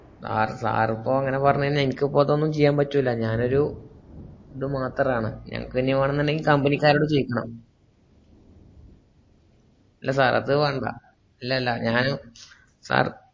sir sir പ്പോ അങ്ങനെ പറഞ്ഞയഞ്ഞാൽ ഇനിക്കപ്പോ ഇതൊന്നും ചെയ്യാബറ്റുല്ല ഞാനൊരു ത് മാത്രാണ് എനകിനി വാണന്നുണ്ടെങ്കി company ക്കാരോട് ചോയ്ക്കണം ല്ല sir അത് വാണ്ട ല്ല ഞാൻ sir